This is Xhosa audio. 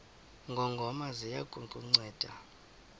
ngongoma ziya kukunceda